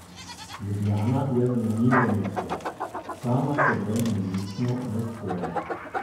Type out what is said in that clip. Ljubljana je zanimivo mesto, sama s seboj nenehno v sporu.